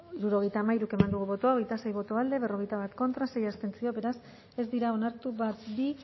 hirurogeita hamairu eman dugu bozka hogeita sei boto alde berrogeita bat contra sei abstentzio beraz ez dira onartu bat bi